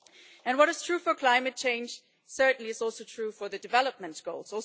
And what is true for climate change is certainly also true for the development goals.